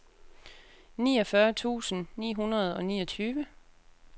niogfyrre tusind ni hundrede og niogtyve